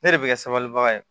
Ne de bɛ ka sabali bagan ye